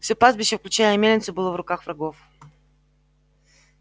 всё пастбище включая и мельницу было в руках врагов